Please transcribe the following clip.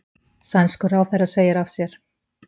Sænskur ráðherra segir af sér